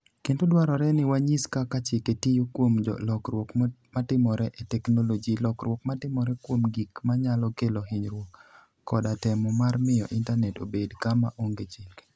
Kendo dwarore ni wanyis kaka chike tiyo kuom lokruok matimore e teknoloji, lokruok matimore kuom gik manyalo kelo hinyruok, koda temo mar miyo Intanet obed kama onge chike".